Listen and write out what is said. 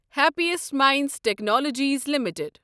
happiest Minds Technologies limited